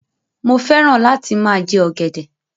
Mo fẹ́ràn lá ti máa jẹ ọ̀gẹ̀dẹ̀.